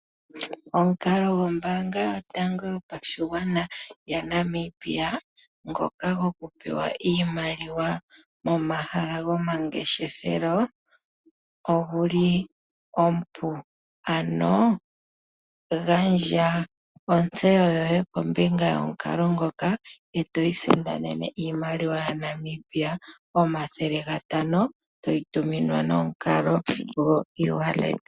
Omukalo gombaanga yotango yopashigwana yaNamibia ngoka gokupewa iimaliwa momahala gomangeshefelo ogo omupu. Gandja ontseyo yoye kombinga yomukalo ngoka e to isindanene iimaliwa yaNamibia N$ 500 to yi tuminwa nomukalo gokongodhi.